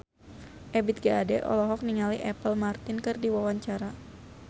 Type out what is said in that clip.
Ebith G. Ade olohok ningali Apple Martin keur diwawancara